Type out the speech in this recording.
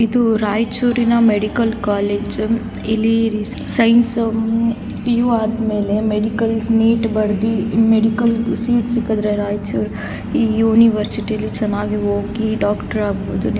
ಇದು ರೈಚೂರರಿನ್ medical college ಇಲ್ಲಿ ಸೈನ್ಸ್ ಪಿ.ಯು ಆದ ಮೇಲೆ ಮೆಡಿಕಲ್ ನೀಟ್ ಬರ್ದಿ ಮೆಡಿಕಲ್ ಸೀಟ್ ಸಿಕ್ಕಾದ್ದರೆ ರೈಚೂರ್ ಈ ಯೂನಿವರ್ಸಿಟಿ ಚನ್ನಾಗಿ ಓದಿ ಡಾಕ್ಟರ್ ಆಗ ಬಹುದು ನಿವು .